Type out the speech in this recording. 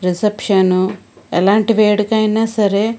Reception ఎలాంటి వేడుకైనా సరే.